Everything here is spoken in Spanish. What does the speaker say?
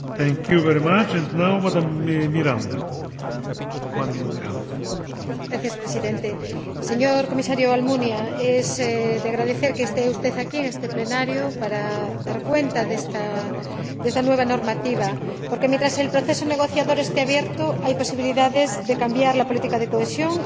Señor Presidente, señor Comisario Almunia, es de agradecer que esté usted aquí en este Pleno para dar cuenta de esta nueva normativa porque, mientras el proceso negociador esté abierto, hay posibilidades de cambiar la política de cohesión y estamos a tiempo de resolver esos riesgos de los que hablan numerosos colegas.